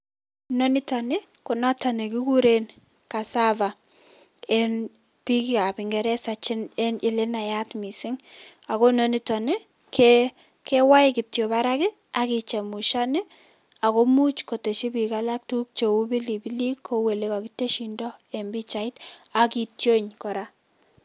Inonitokni konoto nekikure cassava, eng biikab ingeresa eng ole naat mising ako nonitok kewae kityo barak akechemushan ako much kotesh biik alak tuguuk cheu pilipilik kou olekakiteshindo eng pichait akityon kora.